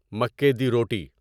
مکی دی روٹی